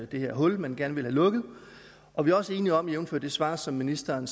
det her hul man gerne ville have lukket og vi også er enige om jævnfør det svar som ministeren